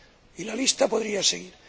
y la lista podría seguir.